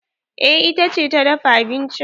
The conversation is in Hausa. Eh ita ce ta dafa abincin.